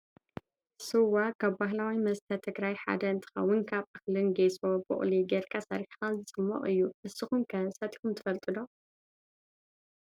ስዋ ካብ ባህላዊ መስተ ትግራይ ሓደ እንትከውን ካብ እክልን ጌሶ፣ ቡቅሊ ገርካ ሰርሒካ ዝፅሞቅ እዩ። ንሱኩም ከ ሰቲኩም ትፈልጡ ዶ ?